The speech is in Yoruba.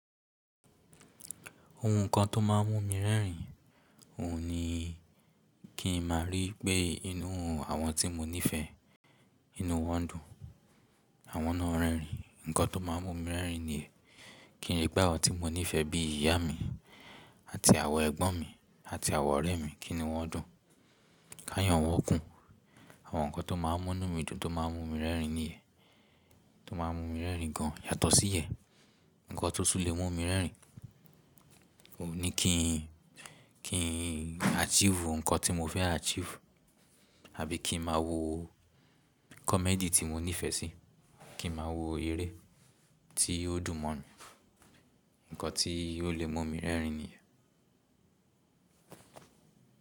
Ohun kan tó máà ń mú mi rẹ́rìn, òhun ni kí n máa rí pé inú àwọn tí mo nífẹ̀ẹ́, inú wọn dùn. Àwọn náà rẹ́rìn. Ǹnkan tó máà ń mú mi rẹ́rìn niyen, kí n rí pe àwọn tí mo nífẹ̀ẹ́ bí ìyá mi àti àwọn ẹ̀gbọ́n mi àti àwọn ọ̀rẹ́ mi kíni wọ́n dùn. Ká yàn wọ́n kún. Àwọn nǹkan tó máà ń mú inu mí dùn tó máà ń mú mi rẹ́rìn ni yen. Tó máà ń mú mi rẹ́rìn gan, yàtọ̀ sí ìyẹ́n, nǹkan tó tún lè mú mi rẹ́rìn, òhun ni kí n, kí n achieve nǹkan tí mo fẹ́ achieve, àbí kí n máa wo comedy tí mo nífẹ̀ẹ́ sí, kí n máa wo eré tí ó dùn mọ́ mi. Ǹnkan tí ó lè mú mi rẹ́rìn ni yen.